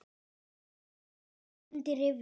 Ráð undir rifjum.